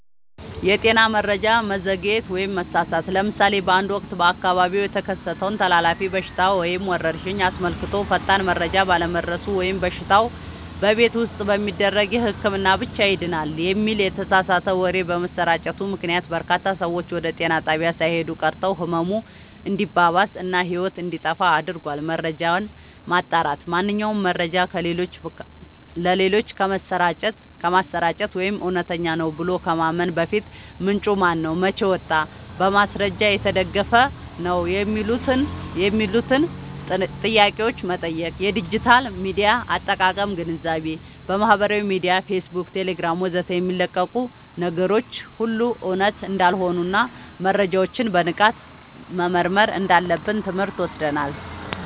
የጤና መረጃ መዘግየት/መሳሳት፦ ለምሳሌ በአንድ ወቅት በአካባቢው የተከሰተን ተላላፊ በሽታ ወይም ወረርሽኝ አስመልክቶ ፈጣን መረጃ ባለመድረሱ ወይም በሽታው "በቤት ውስጥ በሚደረግ ህክምና ብቻ ይድናል" የሚል የተሳሳተ ወሬ በመሰራጨቱ ምክንያት፣ በርካታ ሰዎች ወደ ጤና ጣቢያ ሳይሄዱ ቀርተው ህመሙ እንዲባባስ እና ህይወት እንዲጠፋ አድርጓል። መረጃን ማጣራት፦ ማንኛውንም መረጃ ለሌሎች ከማሰራጨት ወይም እውነት ነው ብሎ ከማመን በፊት፣ "ምንጩ ማነው? መቼ ወጣ? በማስረጃ የተደገፈ ነው?" የሚሉትን ጥያቄዎች መጠየቅ። የዲጂታል ሚዲያ አጠቃቀም ግንዛቤ፦ በማህበራዊ ሚዲያ (ፌስቡክ፣ ቴሌግራም ወዘተ) የሚለቀቁ ነገሮች ሁሉ እውነት እንዳልሆኑና መረጃዎችን በንቃት መመርመር እንዳለብን ትምህርት ወስደናል።